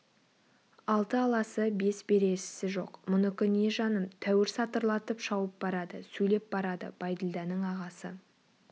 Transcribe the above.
алты аласы бес бересісі жоқ мұнікі не жаным тәуір сатырлатып шауып барады сөйлеп барады бәйділданың ағасы